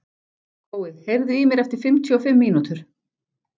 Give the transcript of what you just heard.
Gói, heyrðu í mér eftir fimmtíu og fimm mínútur.